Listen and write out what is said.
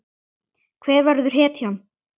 Hver verður hetjan?